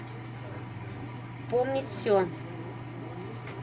помнить все